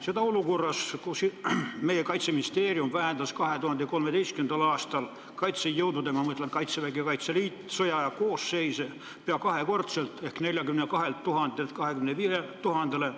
Seda olukorras, kus Kaitseministeerium vähendas 2013. aastal kaitsejõudude – ma pean silmas Kaitseväge ja Kaitseliitu – sõjaaja koosseisu pea kahekordselt: 42 000-lt 25 000-le.